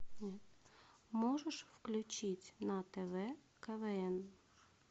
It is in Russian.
можешь включить на тв квн